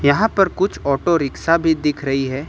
यहां पर कुछ ऑटो रिक्शा भी दिख रही है।